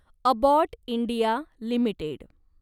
Abbott India limited